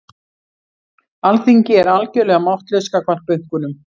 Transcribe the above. Alþingi er algjörlega máttlaust gagnvart bönkunum